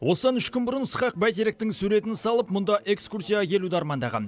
осыдан үш күн бұрын ысқақ бәйтеректің суретін салып мұнда экскурсияға келуді армандаған